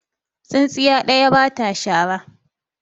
tsintsiya ɗaya ba ta shara